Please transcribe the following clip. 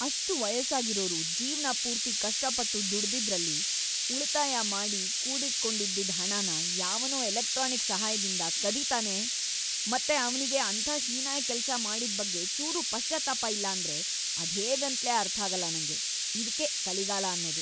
ಅಷ್ಟ್ ವಯಸ್ಸಾಗಿರೋರು ಜೀವ್ನಪೂರ್ತಿ ಕಷ್ಟಪಟ್ಟು‌ ದುಡ್ದಿದ್ರಲ್ಲಿ ಉಳ್‌ತಾಯ ಮಾಡಿ ಕೂಡಿಟ್ಕೊಂಡಿದ್ದಿದ್ ಹಣನ ಯಾವನೋ ಎಲೆಕ್ಟ್ರಾನಿಕ್‌ ಸಹಾಯ್ದಿಂದ ಕದೀತಾನೆ ಮತ್ತೆ ಅವ್ನಿಗೆ ಅಂಥ ಹೀನಾಯ ಕೆಲ್ಸ ಮಾಡಿದ್‌ ಬಗ್ಗೆ ಚೂರೂ ಪಶ್ಚಾತ್ತಾಪ ಇಲ್ಲ ಅಂದ್ರೆ ಅದ್ಹೇಗೇಂತ್ಲೇ ಅರ್ಥಾಗಲ್ಲ ನಂಗೆ. ಇದ್ಕೇ ಕಲಿಗಾಲ ಅನ್ನೋದು!